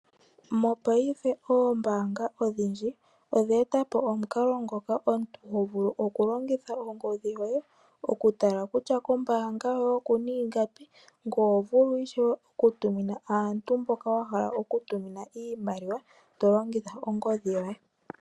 Mopaife oombaanga odhindji odhe etapo omukalo ngoka omuntu tovulu oku longitha ongodhi yoye oku tala kutya kombaanga yoye okuna ingapi. Ngoye oho vulu ishewe oku tumina aantu mboka wahala oku tumina iimaliwa tolongitha ongodhi yoye.